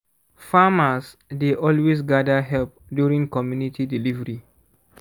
farmers dey always gather help during comunity delivery